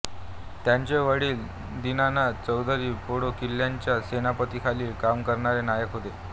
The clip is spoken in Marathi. त्यांचे वडील दीनानाथ चौधरी पेंडो किल्ल्याच्या सेनापतीखाली काम करणारे नायक होते